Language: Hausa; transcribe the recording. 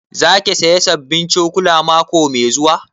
Za ki saya sabbin cokula mako mai zuwa?